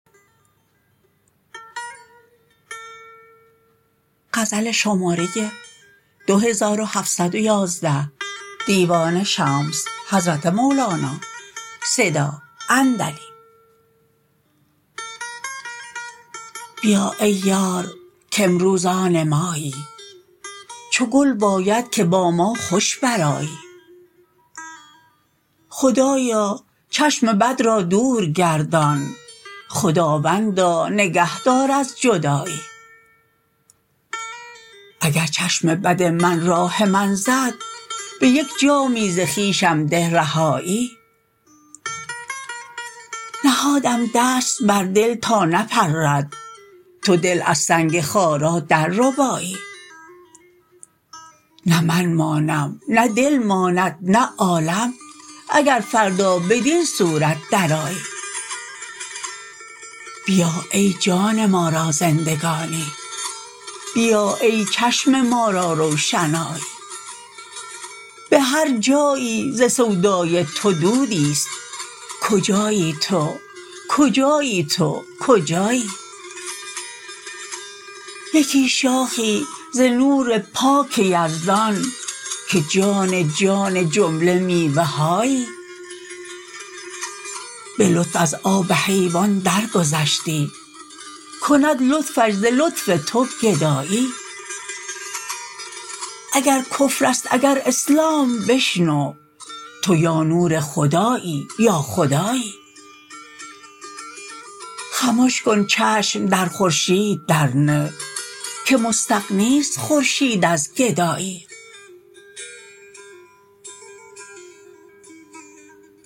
بیا ای یار کامروز آن مایی چو گل باید که با ما خوش برآیی خدایا چشم بد را دور گردان خداوندا نگه دار از جدایی اگر چشم بد من راه من زد به یک جامی ز خویشم ده رهایی نهادم دست بر دل تا نپرد تو دل از سنگ خارا درربایی نه من مانم نه دل ماند نه عالم اگر فردا بدین صورت درآیی بیا ای جان ما را زندگانی بیا ای چشم ما را روشنایی به هر جایی ز سودای تو دودی است کجایی تو کجایی تو کجایی یکی شاخی ز نور پاک یزدان که جان جان جمله میوه هایی به لطف از آب حیوان درگذشتی کند لطفش ز لطف تو گدایی اگر کفر است اگر اسلام بشنو تو یا نور خدایی یا خدایی خمش کن چشم در خورشید درنه که مستغنی است خورشید از گدایی